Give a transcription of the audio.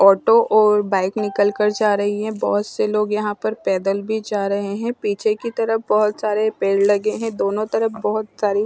auto और bike निकल कर जा रही हैं बहुत से यहाँ पर लोग पैदल भी जा रहे हैं पीछे की तरफ बहुत सारे पेड़ लगे हैं दोनों तरफ बहुत सारी--